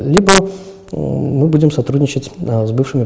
либо мм мы будем сотрудничать с бывшими